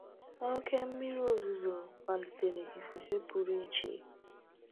1Oke mmiri ozuzo kpalitere ifufe pụrụ iche.